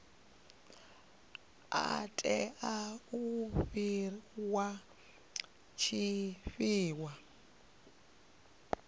u tea u fhiwa tshifhinga